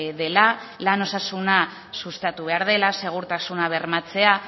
dela lan osasuna sustatu behar dela segurtasuna bermatzea